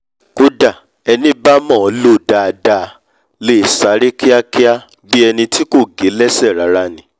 kódà ení bá mọ̀ ọ́ lò dáadáa lè sáré kíakía bí eni tí kò gé lẹ́sẹ̀ rárá ni